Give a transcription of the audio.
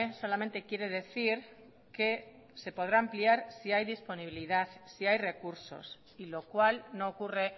solamente quiere decir que se podrá ampliar si hay disponibilidad si hay recursos y lo cual no ocurre